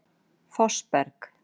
Fossberg